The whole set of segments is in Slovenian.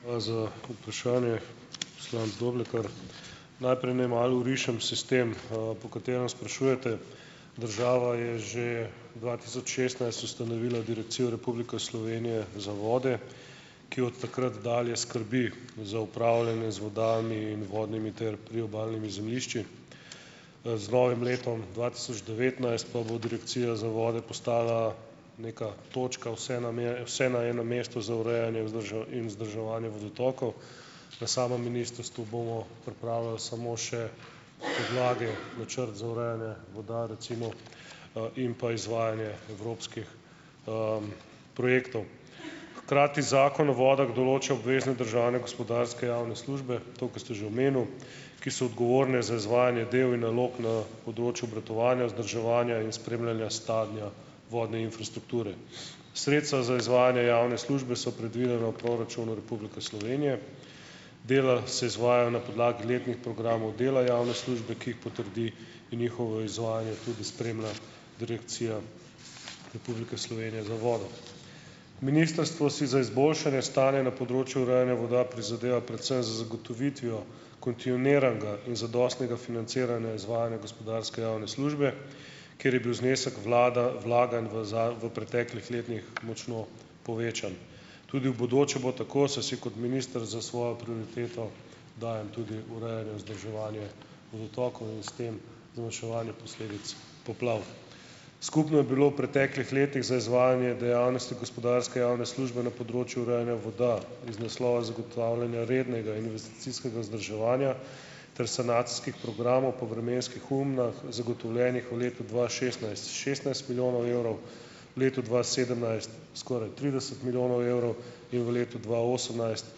Hvala za vprašanje, poslanec Doblekar. Najprej naj malo orišem sistem, po katerem sprašujete. Država je že dva tisoč šestnajst ustanovila Direkcijo Republike Slovenije za vode, ki od takrat dalje skrbi za upravljanje z vodami in vodnimi ter priobalnimi zemljišči. z novim letom dva tisoč devetnajst pa bo direkcija za vode postala neka točka, vse nam je, vse na enem mestu za urejanje, in vzdrževanje vodotokov. Na samem ministrstvu bomo pripravili samo še podlage, načrt za urejanje voda recimo, in pa izvajanje evropskih, projektov. Hkrati Zakon o vodah določi obvezne državne gospodarske javne službe, to, kar ste že omenil, ki so odgovorne za izvajanje delo in nalog na področju obratovanja, vzdrževanja in spremljanja stanja vodne infrastrukture. Sredstva za izvajanje javne službe so predvidena v proračunu Republike Slovenije. Dela se izvajajo na podlagi letnih programov dela javne službe, ki jih potrdi in njihovo izvajanje tudi spremlja Direkcija Republike Slovenije za vodo. Ministrstvo si za izboljšanje stanja na področju urejanja voda prizadeva predvsem z zagotovitvijo kontinuiranega in zadostnega financiranja izvajanja gospodarske javne službe, ker je bil znesek vlada vlaganj v v preteklih letnih močno povečan. Tudi v bodoče bo tako, saj si kot minister za svojo prioriteto dajem tudi urejanje, vzdrževanje vodotokov in s tem zmanjševanje posledic poplav. Skupno je bilo v preteklih letih za izvajanje dejavnosti gospodarske javne službe na področju urejanja voda iz naslova zagotavljanja rednega investicijskega vzdrževanja ter sanacijskih programov po vremenskih ujmah zagotovljenih v letu dva šestnajst šestnajst milijonov evrov, v letu dva sedemnajst skoraj trideset milijonov evrov in v letu dva osemnajst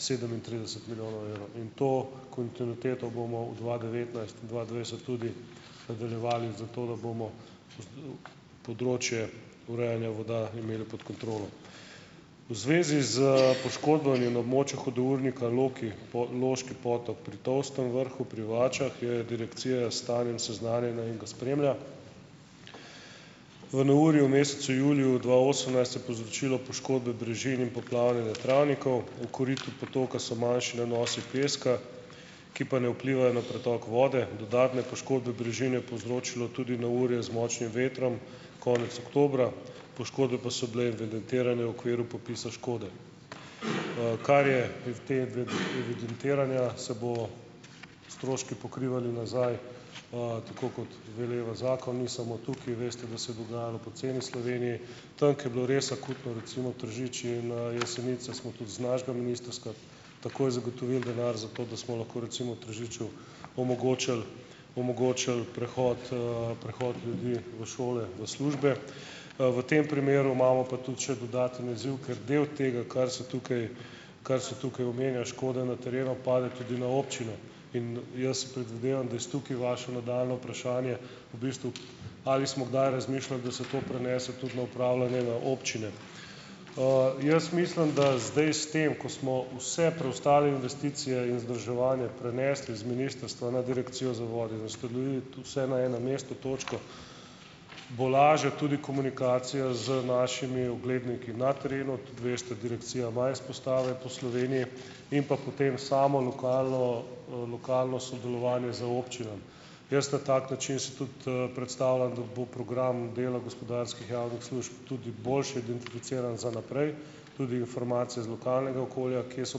sedemintrideset milijonov evrov in to kontinuiteto bomo v dva devetnajst-dva dvajset tudi nadaljevali zato, da bomo področje urejanja voda imeli pod kontrolo. V zvezi s poškodbami na območju hudournika Loki Loški Potok pri Tolstem vrhu pri Vačah je direkcija s stanjem seznanjena in ga spremlja. V neurju mesecu juliju dva osemnajst je povzročilo poškodbe brežin in poplavljanje travnikov, v koritu potoka so manjši nanosi peska, ki pa ne vplivajo na pretok vode, dodatne poškodbe brežin je povzročilo tudi neurje z močnim vetrom konec oktobra, poškodbe pa so bile evidentirane v okviru popisa škode. kar je evidentiranja, se bodo stroški pokrivali nazaj, tako kot veleva zakon, ni samo tukaj, veste, da se je dogajalo po celi Sloveniji. Tam, kjer je bilo res akutno, recimo Tržič, in, Jesenice smo tudi z našega ministrska takoj zagotovili denar za to, da smo lahko recimo v Tržiču omogočili, omogočili prehod, prehod ljudi v šole, v službe, v tem primeru imamo pa tudi še dodaten izziv, ker del tega, kar se tukaj, kar se tukaj omenja škode na terenu, pade tudi na občino in jaz predvidevam, da je s tukaj vaše nadaljnje vprašanje v bistvu, ali smo kdaj razmišljali, da se to prenese tudi na upravljanje na občine. Jaz mislim, da zdaj s tem, ko smo vse preostale investicije in vzdrževanje prenesli z ministrstva na Direkcijo za vode in ustanovili tu "vse na enem mestu" točko, bo lažja tudi komunikacija z našimi ogledniki na terenu - tudi veste, direkcija ima izpostave po Sloveniji - in pa potem samo lokalno, lokalno sodelovanje z občinami. Jaz na tak način si tudi, predstavljam, da bo program delno gospodarskih javnih služb tudi boljše identificiran za naprej, tudi informacije z lokalnega okolja, kje so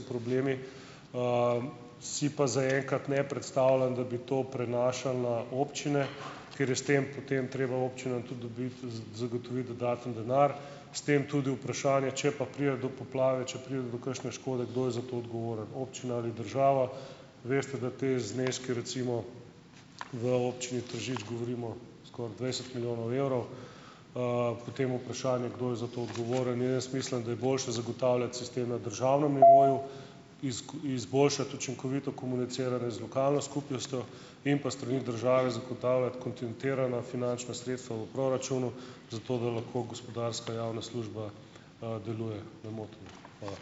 problemi. Si pa zaenkrat ne predstavljam, da bi to prenašali na občine, ker je s tem potem treba občinam tudi dobiti zagotoviti dodaten denar. S tem tudi vprašanje, če pa pride do poplave, če pride do kakšne škode, kdo je za to odgovoren, občina ali država. Veste, da te zneski, recimo v Občini Tržič govorimo skoraj dvajset milijonov evrov. potem vprašanje, kdo je za to odgovoren. Ja, jaz mislim, da je boljše zagotavljati sistem na državnem nivoju, izboljšati učinkovito komuniciranje z lokalno skupnostjo in pa s strani države zagotavljati kontinuirana finančna sredstva v proračunu, zato da lahko gospodarska javna služba, deluje nemoteno. Hvala.